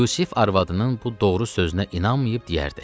Yusif arvadının bu doğru sözünə inanmayıb deyərdi: